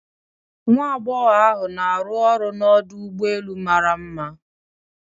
Nwa agbogho ahu na aru ọrụ n'Ọdụ ụgbọ elu mara one mma